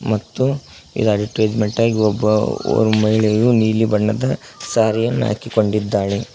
ಮತ್ತು ಇದು ಅಡಿಟೈಸ್ಮೆಂಟಾಗಿ ಒಬ್ಬ ಮಹಿಳೆಯು ನೀಲಿ ಬಣ್ಣದ ಸಾರಿಯನ್ನು ಹಾಕಿಕೊಂಡಿದ್ದಾಳೆ.